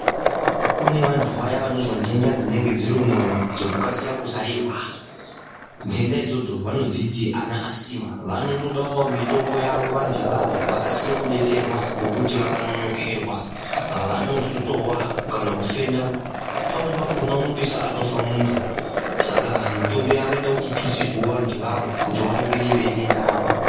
Kune vanthu vaya vanozwa ndenda dzunenge dziri mumwoyo dzekukasira kuzarirwa ndenda idzodzo vanodziti ana asima vanotodao mitombo yavo vanthu ivavo vakasire kudeetserwa ngekuti vakanonokerwa vanozotowa kana kufenda pamweni pakona unopeisira atofa munthu saka mitombo yavo inoda kuti itutsirwewo vanthu ivavo kuti vaone kuende mberi nendaramo .